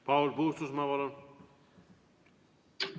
Paul Puustusmaa, palun!